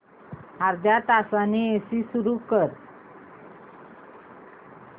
अर्ध्या तासाने एसी सुरू कर